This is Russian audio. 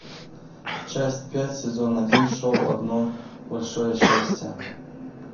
часть пять сезон один шоу одно большое счастье